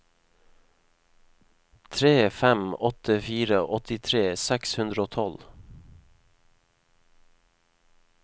tre fem åtte fire åttitre seks hundre og tolv